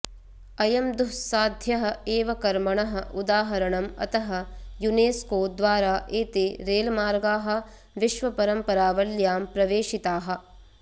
अयं दुःस्साध्यः एव कर्मणः उदाहरणम् अतः युनेस्को द्वारा एते रेल्मार्गाः विश्वपरम्परावल्यां प्रवेशिताः